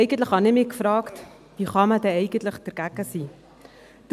Ich habe mich gefragt, wie man denn eigentlich dagegen sein kann.